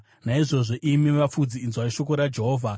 “ ‘Naizvozvo, imi vafudzi, inzwai shoko raJehovha: